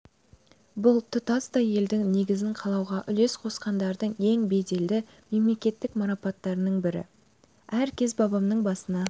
бұл тұтастай елдің негізін қалауға үлес қосқандардың ең беделді мемлекеттік марапаттарын бірі әр кез бабамның басына